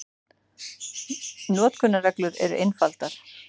Notkunarreglur eru einfaldar.